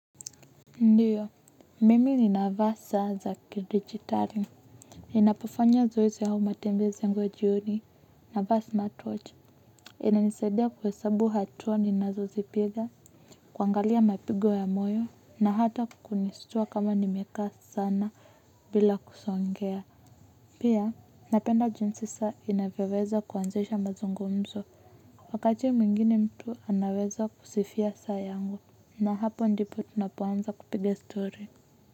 Ndiyo, mimi ni navaa saa za ki-dijitali. Ninapofanya zoezi au matembezi yangu ya jioni, navaa smartwatch. Inanisadia kuhesabu hatua ninazo zipiga, kuangalia mapigo ya moyo, na hata kunistua kama nimeka sana bila kusongea. Pia, napenda jinsi saa inavyaweza kuanzisha mazungumzo. Wakati mwingine mtu anaweza kusifia saa yangu. Na hapo ndipo tunapoanza kupiga stori.